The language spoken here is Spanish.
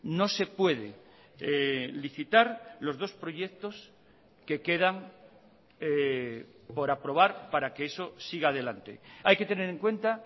no se puede licitar los dos proyectos que quedan por aprobar para que eso siga adelante hay que tener en cuenta